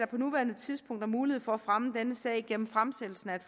på nuværende tidspunkt er mulighed for at fremme denne sag gennem fremsættelse af et